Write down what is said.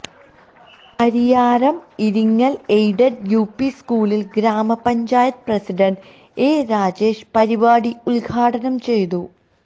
Pariyaram Iringal aided UP സ്കൂളില് ഗ്രാമപഞ്ചായത്ത് president A Rajesh പരിപാടി ഉദ്ഘാടനം ചെയ്തു